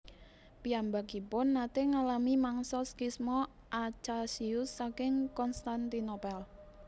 Piyambakipun naté ngalami mangsa skisma Acasius saking Konstantinopel